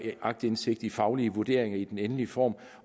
aktindsigt i faglige vurderinger i den endelige form